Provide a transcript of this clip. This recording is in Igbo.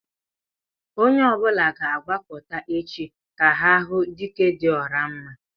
Onye ọbula ga-agbakọtá échi, ka ha hụ "Dike dị ọra mma"